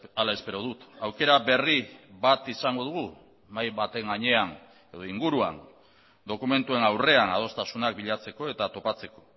hala espero dut aukera berri bat izango dugu mahai baten gainean edo inguruan dokumentuen aurrean adostasunak bilatzeko eta topatzeko